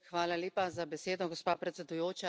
Hvala lepa za besedo, gospa predsedujoča.